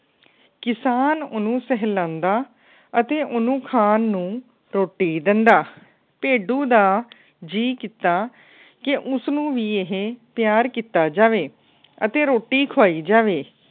ਕਿਸਾਨ ਉਹਨੂੰ ਸਾਹਲਾਂਦਾ ਅਤੇ ਉਹਨੂੰ ਖਾਨ ਨੂੰ ਰੋਟੀ ਦਿੰਦਾ। ਭੇਡੂ ਦਾ ਜੀ ਕਿੱਤਾ ਕਿ ਉਸਨੂੰ ਵੀ ਇਹ ਪਿਆਰ ਕਿੱਤਾ ਜਾਵੇ ਅਤੇ ਰੋਟੀ ਖਵਾਈ ਜਾਵੇ।